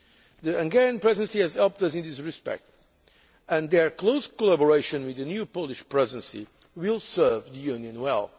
future. The Hungarian Presidency has helped us in this respect and their close collaboration with the new Polish Presidency will serve the Union